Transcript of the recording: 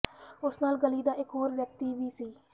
ਉਸ ਨਾਲ ਗਲੀ ਦਾ ਇਕ ਹੋਰ ਵਿਅਕਤੀ ਵੀ ਸੀ